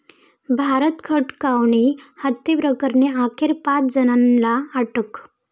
भारत खटवानी हत्येप्रकरणी अखेर पाच जणांना अटक